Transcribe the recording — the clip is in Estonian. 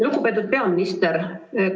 Lugupeetud peaminister!